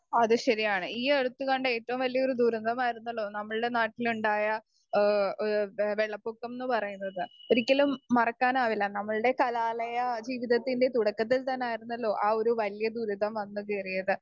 speaker 2 അത് ശരിയാണ് ഈ അടുത്ത് കണ്ട ഏറ്റവും വലിയൊരു ദുരിതമായിരുന്നല്ലോ നമ്മളുടെ നാട്ടിലുണ്ടായ ഏഹ് എഹ് വെള്ളപൊക്കം ന്ന് പറയണത് ഒരിക്കലും മറക്കാനാവില്ല നമ്മൾടെ കലാലയ ജീവിതത്തിന്റെ തുടക്കത്തിൽ തന്നായിരുന്നല്ലോ ആ ഒരു വല്യ ദുരിതം വന്ന് കേറിയത്